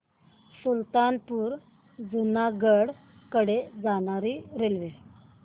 सुल्तानपुर पासून जुनागढ कडे जाणारी रेल्वे